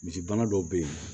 Misigɛnna dɔw be yen